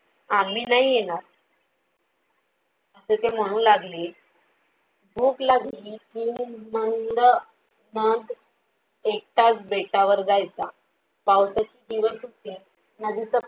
आम्ही नाही येणार असे ते म्हणू लागले. भूक लागली कि नंद मग एकटाच बेटावर जायचा पावसाचे दिवस होते. नदीच